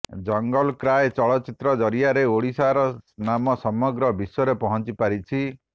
ଜଙ୍ଗଲ କ୍ରାଏ ଚଳଚ୍ଚିତ୍ର ଜରିଆରେ ଓଡ଼ିଶାର ନାମ ସମଗ୍ର ବିଶ୍ୱରେ ପହଁଚିପାରିଛି